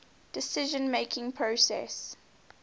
decision making process